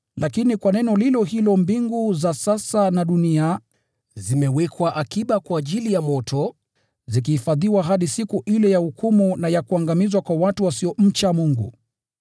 Lakini kwa neno lilo hilo, mbingu za sasa na dunia zimewekwa akiba kwa ajili ya moto, zikihifadhiwa hadi siku ile ya hukumu na ya kuangamizwa kwa watu wasiomcha Mungu.